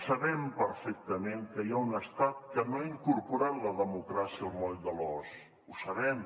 sabem perfectament que hi ha un estat que no ha incorporat la democràcia al moll de l’os ho sabem